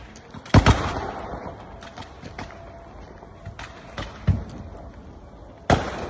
Bir sıra atış səsləri eşidilir.